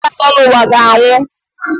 Onye ọ bụla nọ n'ụwa ga-anwụ.